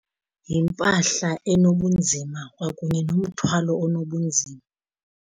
Yimpahla enobunzima kwakunye nomthwalo onobunzima.